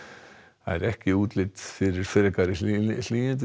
ekki útlit fyrir frekari hlýindi